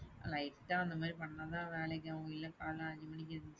Lite ஆ அந்த மாரி பண்ணதான் வேலைக்கு ஆகும். இல்ல காலைல அஞ்சு மணிக்கு எந்திரிச்சு,